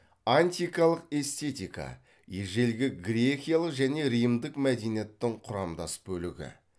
антикалық эстетика ежелгі грекиялық және римдік мәдениеттің құрамдас бөлігі